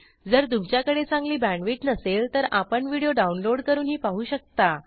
जर तुमच्याकडे चांगली बॅण्डविड्थ नसेल तर आपण व्हिडिओ डाउनलोड करूनही पाहू शकता